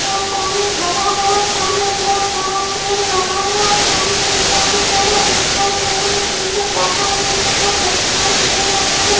बोत पानी भरा हुआ सामने बोहोत बड़ा पेड़ लगा हुआ सामने ईंटो की तरह दिखाई दे रही है पीछे पहाड़ की तरह दिखाई दे रहा है।